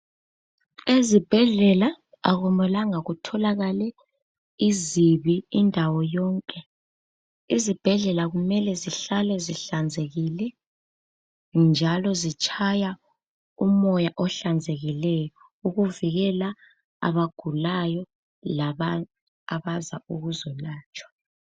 Ezibhedlela akumelanga kutholakale izibi indawo yonke. Izibhedlela kumele zihlale zihlanzekile njalo zitshaya umoya ohlanzekileyo ukuvikela abagulayo labanye abaza ukuzolatshwa.